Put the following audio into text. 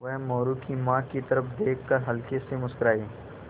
वह मोरू की माँ की तरफ़ देख कर हल्के से मुस्कराये